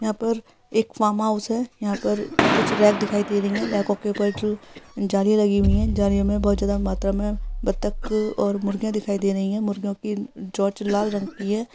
यहाँ पर एक फार्म हाउस है यहाँ पर कुछ रैक दिखाई दे रही हैं रैकों के उपर जो जालियां लगी हुई हैं जालियां में बहोत ज्यादा मात्रा में बतक और मुर्गियां दिखाई दे रही हैं मुर्गियां की चोंच लाल रंग की है।